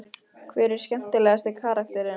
Hver er skemmtilegasti karakterinn?